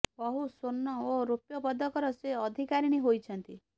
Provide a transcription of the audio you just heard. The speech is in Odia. ବହୁ ସ୍ୱର୍ଣ୍ଣ ଓ ରୌପ୍ୟ ପଦକର ସେ ଅଧିକାରିଣୀ ହୋଇଛନ୍ତି